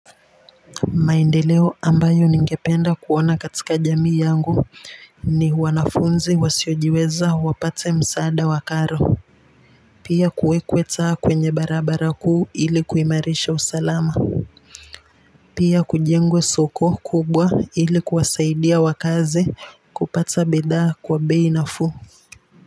Maendeleo ambayo ningependa kuona katika jamii yangu ni wanafunzi wasiojiweza wapate msaada wa karo pia kuwekweta kwenye barabara kuu ili kuimarisha usalama pia kujengwe soko kubwa ili kuwasaidia wakaazi kupata bidha kwa bei nafuu.